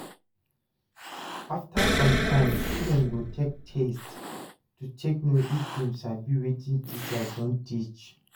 After some time student go take test to take know if dem sabi wetin teacher don teach